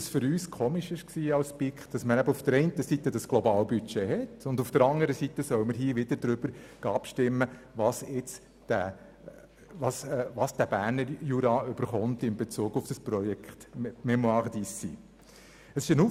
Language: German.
Es war für uns eigenartig, dass man einerseits dieses Globalbudget hat, anderseits aber dennoch darüber abstimmen soll, wie viel der Berner Jura für dieses Projekt «Fondation Mémoires d’Ici» erhalten soll.